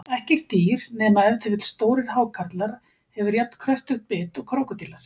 Ekkert dýr, nema ef til vill stórir hákarlar, hefur jafn kröftugt bit og krókódílar.